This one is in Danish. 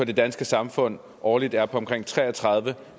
det danske samfund årligt er på omkring tre og tredive